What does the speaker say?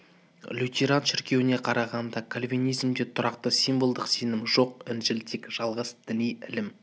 лютеран шіркеуіне қарағанда кальвенизмде тұрақты символдық сенім жоқ інжіл тек жалғыз діни ілім